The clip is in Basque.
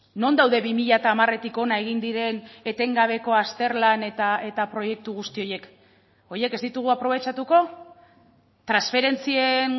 non daude bi mila hamaretik hona egin diren etengabeko azterlan eta proiektu guzti horiek horiek ez ditugu aprobetxatuko transferentzien